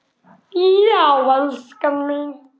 Já en elskan mín.